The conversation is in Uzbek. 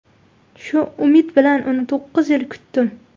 Shu umid bilan uni to‘qqiz yil kutdim.